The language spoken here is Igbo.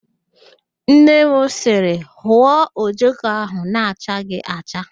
Nne m sịrị, hụọ ojoko ahụ na-achaghị acha!